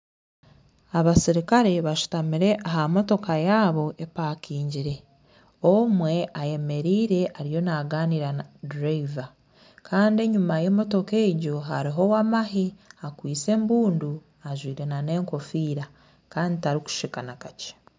Abaserukare bashutamire aha motoka yabo epakingire. Omwe ayemereire ariyo naaganira na dureeva. Kandi enyima y'emotoka egyo hariho ow'amahe akwaise embundu ajwaire n'enkofiira kandi tarikusheka na kakye.